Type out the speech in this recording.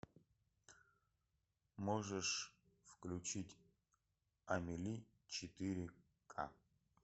можешь включить амели четыре к